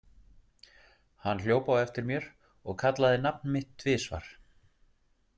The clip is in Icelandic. Hann hljóp á eftir mér og kallaði nafn mitt tvisvar.